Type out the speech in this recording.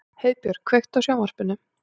Heiðbjörk, kveiktu á sjónvarpinu.